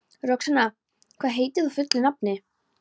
Roxanna, hvað heitir þú fullu nafni?